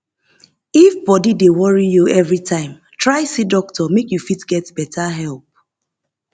if body dey worry you everytime try see doctor make you fit get better help